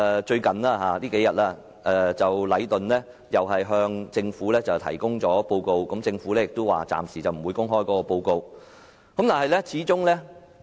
最近，禮頓建築有限公司向政府提交報告，但政府表示暫時不會公開該報告。